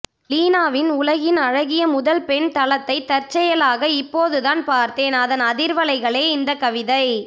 லீனாவின் உலகின் அழகிய முதல் பெண் தளத்தை தற்செயலாக இப்போதுதான் பார்த்தேன் அதன் அதிர்வலைகளே இந்தக் கவிதை